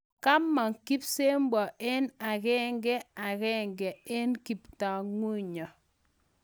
Kamang kipsebwo eng akengakenge ak kaptagunyo